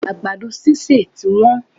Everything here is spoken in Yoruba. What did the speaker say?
Àgbàdo sísè ti wón